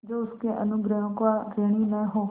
जो उसके अनुग्रहों का ऋणी न हो